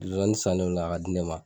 Zonzannin sannen o la ka di ne ma.